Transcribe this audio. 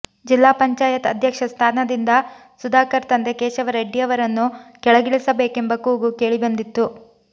ಜಿಲ್ಲಾ ಪಂಚಾಯತ್ ಅಧ್ಯಕ್ಷ ಸ್ಥಾನದಿಂದ ಸುಧಾಕರ್ ತಂದೆ ಕೇಶವ ರೆಡ್ಡಿಯವರನ್ನು ಕೆಳಗಿಳಿಸಬೇಕೆಂಬ ಕೂಗು ಕೇಳಿಬಂದಿತ್ತು